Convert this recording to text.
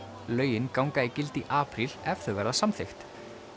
lögin ganga í gildi í apríl ef þau verða samþykkt